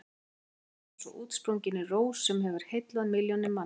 Núna líður mér eins og útsprunginni rós sem hefur heillað milljónir manna.